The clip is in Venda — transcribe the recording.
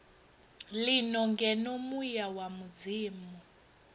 lino ngeno muya wa mudzimu